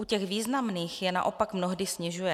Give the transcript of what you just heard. U těch významných je naopak mnohdy snižuje.